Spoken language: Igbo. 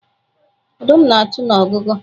ọdum nāchu n'ọgugu